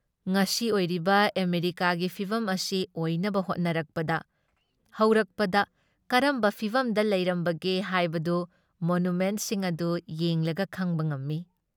ꯉꯁꯤ ꯑꯣꯏꯔꯤꯕ ꯑꯃꯦꯔꯤꯀꯥꯒꯤ ꯐꯤꯚꯝ ꯑꯁꯤ ꯑꯣꯏꯅꯕ ꯍꯣꯠꯅꯔꯛꯄꯗ ꯍꯧꯔꯛꯄꯗ ꯀꯔꯝꯕ ꯐꯤꯚꯝꯗ ꯂꯩꯔꯝꯕꯒꯦ ꯍꯥꯏꯕꯗꯨ ꯃꯣꯅꯨꯃꯦꯟꯠꯁꯤꯡ ꯑꯗꯨ ꯌꯦꯡꯂꯒ ꯈꯪꯕ ꯉꯝꯃꯤ ꯫